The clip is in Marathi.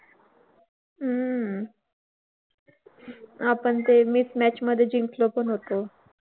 हम्म आपण ते miss match मध्ये जिंकलो पण होतो.